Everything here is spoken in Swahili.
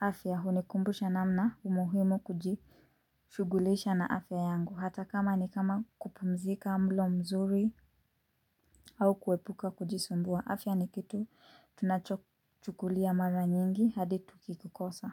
afya. Hunikumbusha namna umuhimu kujishugulisha na afya yangu. Hata kama ni kama kupumzika mlo mzuri au kuepuka kujisumbua. Afya ni kitu tunachochukulia mara nyingi hadi tukikikosa.